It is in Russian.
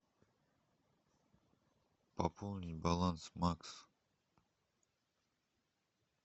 пополнить баланс макс